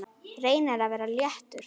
Reynir að vera léttur.